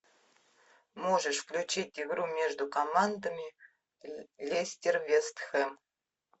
можешь включить игру между командами лестер вест хэм